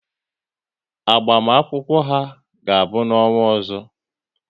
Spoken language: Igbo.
Agbamakwụkwọ ha ga-abụ n'ọnwa ọzọ